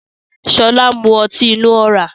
Sọlá ń mú ọtí inú ọ̀rá